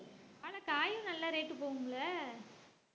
ஆனா காயும் நல்ல rate உ போகும்ல